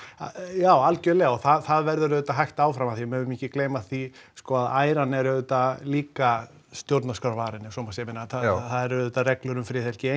já algjörlega og það verður auðvitað hægt áfram af því megum ekki gleyma því sko að æran er auðvitað líka stjórnarskrárvarin ef svo má segja ég meina það eru auðvitað reglur um friðhelgi